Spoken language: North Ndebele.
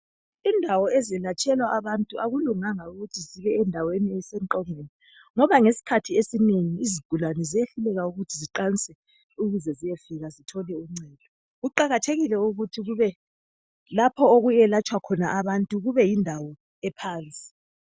Indawo ezilatshelwa abantu akulunganga ukuthi zibe endaweni esemqongweni ngoba ngesikhathi esinengi izigulane ziyehluleka ukuthi ziqanse ukuze ziyefika zithole uncedo. Kuqakathekile ukuthi kube lapha okuyelatshwa khona abantu kube yindawo ephansi.